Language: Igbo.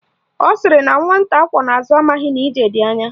Ọ sịrị na nwata akwọ n'azụ amaghị na ije dị anya